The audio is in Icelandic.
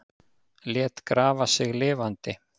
Lét grafa sig lifandi